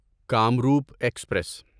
Kamrup express